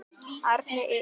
Arna Ýrr.